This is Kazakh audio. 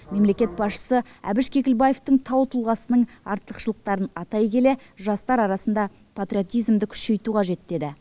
мемлекет басшысы әбіш кекілбаевтың тау тұлғасының артықшылықтарын атай келе жастар арасында патриотизмді күшейту қажет деді